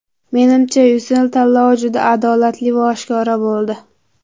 Menimcha, Ucell tanlovi juda adolatli va oshkora bo‘ldi.